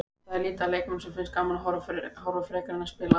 Það er lítið af leikmönnum sem finnst gaman að horfa frekar en að spila.